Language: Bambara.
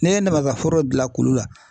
N'i ye namasa foro dilan kulu la